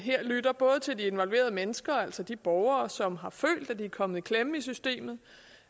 lyttet både til de involverede mennesker altså de borgere som har følt at de er kommet i klemme i systemet